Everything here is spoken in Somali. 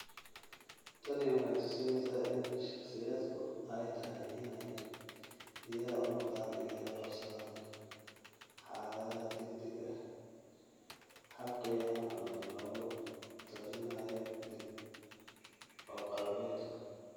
Tani waxay tusinaysaa in shakhsiyaadku ay tahay inay diyaar u noqdaan inay la qabsadaan xaaladaha degdegga ah; hab khiyaano ah oo lagu talinayo dib u qalabaynta.